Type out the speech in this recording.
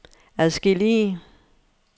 adskillige